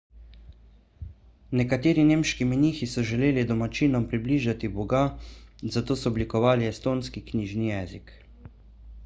nekateri nemški menihi so želeli domačinom približati boga zato so oblikovali estonski knjižni jezik